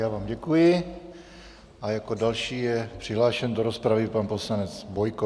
Já vám děkuji a jako další je přihlášen do rozpravy pan poslanec Bojko.